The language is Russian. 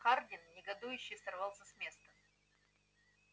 хардин негодующе сорвался с места